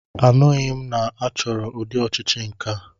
Anụghị m na achọrọ ụdị ọchịchị nkea.